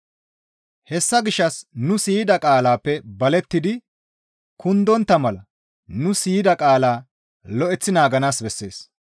Hessa gishshas nuni siyida qaalaappe balettidi kundontta mala nu siyida qaalaa lo7eththi naaganaas bessees.